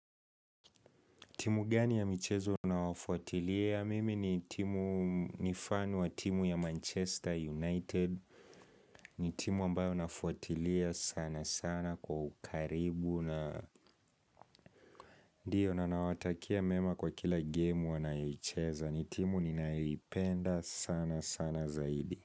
Timu gani ya michezo unawafuatiliya? Mimi ni timu mifano wa timu ya Manchester United. Ni timu ambayo nafuatilia sana sana kwa ukaribu. Na, ndio na nawatakia mema kwa kila game wanayoicheza ni timu ninayoipenda sana sana zaidi.